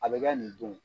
A bɛ kɛ nin don